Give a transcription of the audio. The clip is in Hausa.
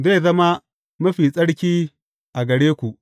Zai zama mafi tsarki a gare ku.